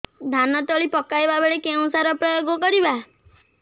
ଧାନ ତଳି ପକାଇବା ବେଳେ କେଉଁ ସାର ପ୍ରୟୋଗ କରିବା